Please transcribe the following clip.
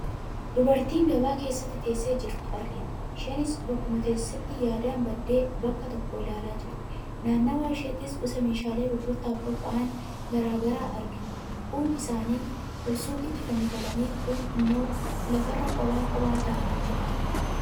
Dubartii gabaa keessatti teessee jirtu argina. Isheenis bakkuma teessetti yaadan baddee bakka tokko ilaalaa jirti. Naannawaa isheettis gosa meeshaalee gurgurtaaf qophaa'an garaagaraa argina. Kuun isaanii ol suuqatti fannifamanii kuun immoo lafarra qopha qophaa taa'anii jiru.